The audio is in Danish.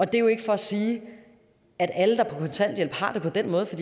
det er jo ikke for at sige at alle der er på kontanthjælp har det på den måde for